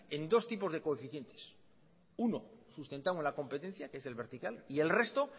en dos tipos de coeficientes uno sustentamos la competencia que es el vertical y el resto